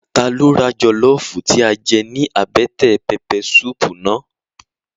Ta ló ra jọlọfu tí a jẹ ní àbẹ́tẹ̀ pẹpẹ suupu náà?